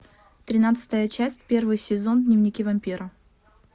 тринадцатая часть первый сезон дневники вампира